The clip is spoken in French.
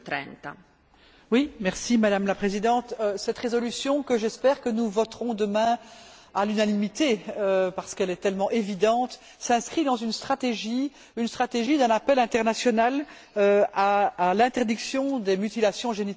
Madame la Présidente, cette résolution que, j'espère, nous voterons demain à l'unanimité, parce qu'elle est tellement évidente, s'inscrit dans une stratégie, une stratégie d'un appel international à l'interdiction des mutilations génitales, à l'échelle des Nations unies.